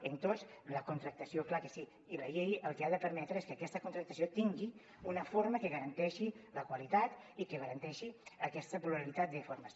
en tots la contractació clar que sí i la llei el que ha de permetre és que aquesta contractació tingui una forma que garanteixi la qualitat i que garanteixi aquesta pluralitat de formes